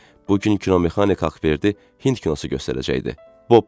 Bu gün kinomexanik Ağverdi Hind kinosu göstərəcəkdi, Bobbi.